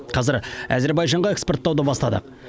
қазір әзербайжанға экспорттауды бастадық